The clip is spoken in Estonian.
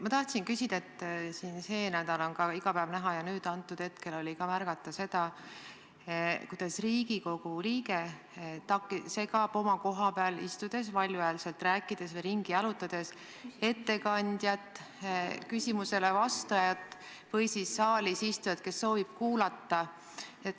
Ma tahtsin küsida, et siin see nädal on iga päev näha ja hetkel oli ka märgata seda, kuidas Riigikogu liige segab oma koha peal istudes valjuhäälselt rääkides või ringi jalutades ettekandjat, küsimusele vastajat või saalis istujat, kes soovib kuulata.